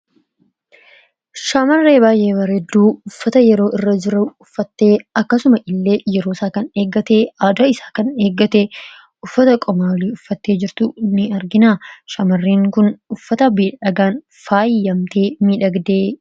Shamarree baay'ee bareedduu uffata yeroo irra jiru uffattee akkasuma illee yeroo isaa kan eeggate aada isaa kan eeggate uffata qaama olii uffattee jirtu ni arginaa. Shaamarreen kun uffata miiidhagaan faayyamtee miidhagdee.